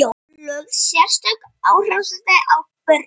Lögð sérstök áhersla á börnin.